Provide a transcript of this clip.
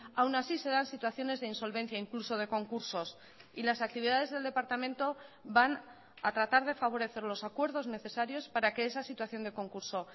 aún así se dan situaciones de insolvencia incluso de concursos y las actividades del departamento van a tratar de favorecer los acuerdos necesarios para que esa situación de concurso